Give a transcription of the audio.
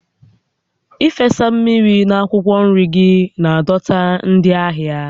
Ịfesa mmiri na akwụkwọ nri gị na-adọta ndị ahịa